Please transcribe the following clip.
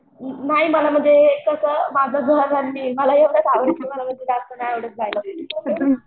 नाही मला म्हणजे तसं माझं घर मला मला जास्त नाही आवडत जायला.